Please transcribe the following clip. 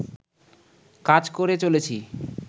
কাজ করে চলেছি